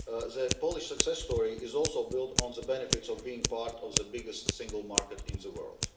The Polish success story is also built on the benefits of being part of the biggest single market in the world.